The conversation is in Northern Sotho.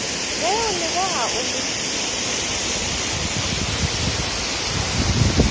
be o lebega o le